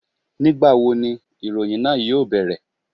Ní ìgbà wo ni ìròyìn náà yóò bẹ̀rẹ̀?